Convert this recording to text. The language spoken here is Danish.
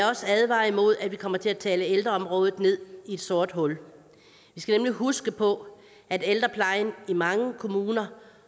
også advare imod at vi kommer til at tale ældreområdet ned i et sort hul vi skal nemlig huske på at ældreplejen i mange kommuner